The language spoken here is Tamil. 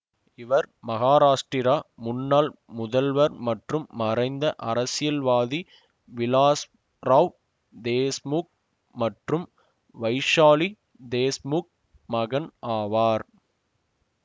இவர் மகாராஷ்டிரா முன்னாள் முதல்வர் மற்றும் மறைந்த அரசியல்வாதி விலாஸ்ராவ் தேஷ்முக் மற்றும் வைஷாலி தேஷ்முக் மகன் ஆவர்